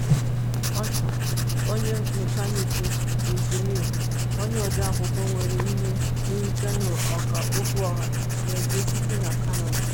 Osho, onye mekanik enjinịa, onye ode akwụkwọ nwere ihe nrita na ọka ókwú ọha na-ede site ná Canada